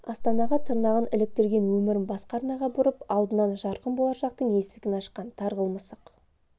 астанаға тырнағын іліктірген өмірін басқа арнаға бұрып алдынан жарқын болашақтың есігін ашқан тарғыл мысық